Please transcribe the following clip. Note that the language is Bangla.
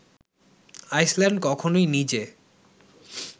আইসল্যান্ড কখনোই নিজে